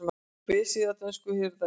Vefsíða dönsku hirðarinnar